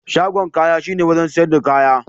Shagon kaya shine wurin siyar da kaya.